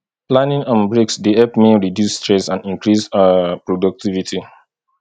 planning and breaks dey help me reduce stress and increase um productivity